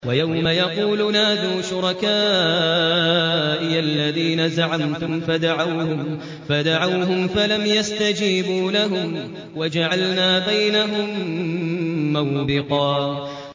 وَيَوْمَ يَقُولُ نَادُوا شُرَكَائِيَ الَّذِينَ زَعَمْتُمْ فَدَعَوْهُمْ فَلَمْ يَسْتَجِيبُوا لَهُمْ وَجَعَلْنَا بَيْنَهُم مَّوْبِقًا